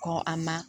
Kɔ a ma